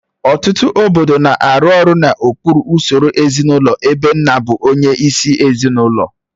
Ọtụtụ obodo na-arụ ọrụ n'okpuru usoro ezinụlọ ebe nna bụ onyeisi ezinụlọ